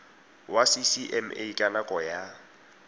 wa ccma ka nako ya